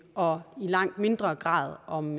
og i langt mindre grad om